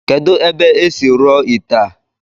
Kedu ebe esi rụọ ite a?